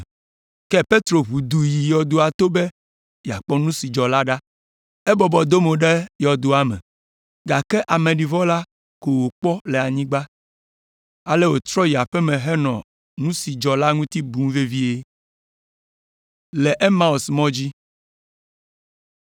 Ke Petro ʋu du yi yɔdoa to be yeakpɔ nu si dzɔ la ɖa. Ebɔbɔ do mo ɖe yɔdoa me, gake ameɖivɔ la ko wòkpɔ le anyigba. Ale wòtrɔ yi aƒe me henɔ nu si dzɔ la ŋuti bum vevie.